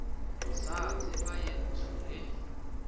sa tseba ye ntsho le